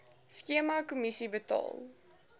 skema kommissie betaal